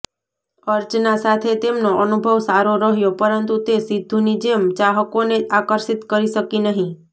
અર્ચના સાથે તેમનો અનુભવ સારો રહ્યો પરંતુ તે સિદ્ધુની જેમ ચાહકોને આકર્ષિત કરી શકી નહીં